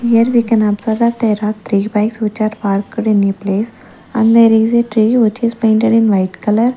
here we can observe that there are three bikes which are parked in a place and there is a tree which is painted in white color.